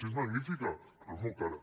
si és magnífica però és molt cara